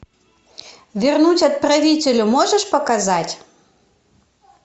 вернуть отправителю можешь показать